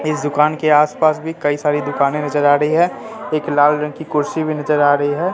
इस दुकान के आस पास भी कई सारी दुकाने नजर आ रही है एक लाल रंग की कुर्सी भी नजर आ रही है।